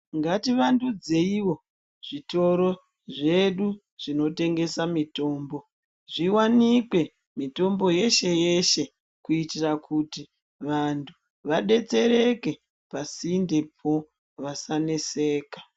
Ngativandudzeiwo zvitoro zvedu zvinotengesa mitombo, zviwanikwe mitombo yeshe-yeshe kuitira kuti vantu vadetsereke pasindepo vasaneseka.